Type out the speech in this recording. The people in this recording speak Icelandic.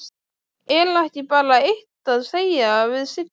Er ekki bara eitt að segja við Sigga?